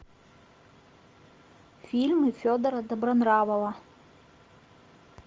фильмы федора добронравова